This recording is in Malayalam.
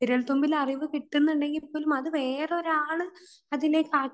വിരൽത്തുമ്പിൽ അറിവ് കിട്ടുന്നുണ്ടെങ്കിൽ പോലും അത് വേറൊരാൾ അതിലേക്ക് ആക്കി വെച്ച